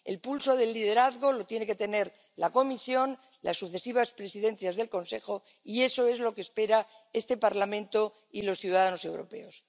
El pulso del liderazgo lo tiene que tener la Comisión, las sucesivas presidencias del Consejo, y eso es lo que esperan este Parlamento y los ciudadanos europeos.